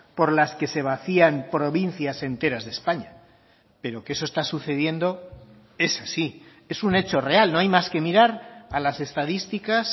por las que se vacían provincias enteras de españa pero que eso está sucediendo es así es un hecho real no hay más que mirar a las estadísticas